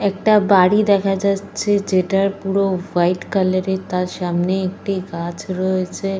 একটা বাড়ি দেখা যাচ্ছে যেটার পুরো হোয়াইট কালারের । তার সামনে একটি গাছ রয়েছে।